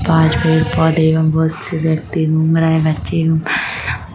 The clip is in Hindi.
पास पेड़ पौधे एवं बहुत से व्यक्ति घूम रहे है बच्चे --